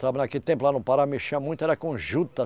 Trabalhava naquele tempo lá no Pará, mexia muito, era com juta.